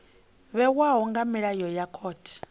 vhewaho nga milayo ya khothe